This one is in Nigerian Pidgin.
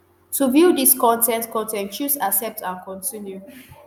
to view dis con ten t con ten t choose 'accept and continue'.